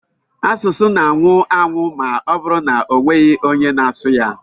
Asụsụ na-anwụ anwụ ma ọbụrụ na-enweghị onye na-asụ ya.